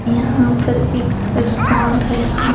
यहां पर एक रेस्टोरेंट है यहां--